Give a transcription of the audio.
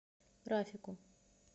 рафику